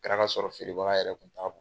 Kɛra kasɔrɔ feerebaga yɛrɛ kun t'a k